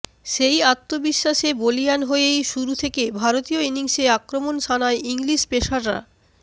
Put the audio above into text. সেই আত্মবিশ্বাসে বলিয়ান হয়েই শুরু থেকে ভারতীয় ইনিংসে আক্রমণ শানায় ইংলিশ পেসাররা